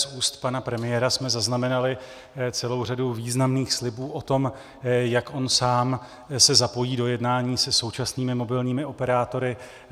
Z úst pana premiéra jsme zaznamenali celou řadu významných slibů o tom, jak on sám se zapojí do jednání se současnými mobilními operátory.